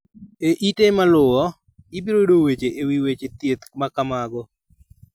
E ite maluwo, ibiro yudo weche e wi weche thieth ma kamago.